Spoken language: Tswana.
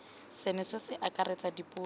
seno se akaretsa dipuo tsotlhe